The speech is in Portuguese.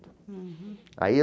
Aí